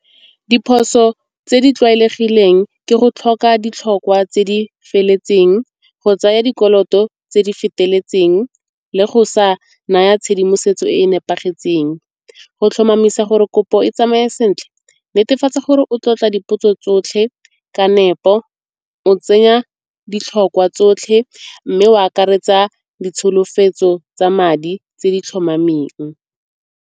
Diphoso tse di tlwaelegileng ke go tlhoka ditlhokwa tse di feletseng, go tsaya dikoloto tse di feteletseng le go sa naya tshedimosetso e e nepagetseng. Go tlhomamisa gore kopo e tsamaye sentle netefatsa gore o tlotla dipotso tsotlhe ka nepo, o tsenya ditlhokwa tsotlhe mme o akaretsa ditsholofetso tsa madi tse di tlhomameng.